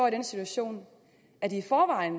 i den situation at de i forvejen